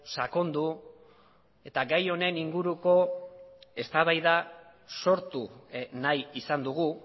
sakondu eta gai honen inguruko eztabaida sortu nahi izan dugu